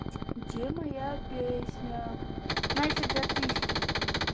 где моя песня настя где ты скинь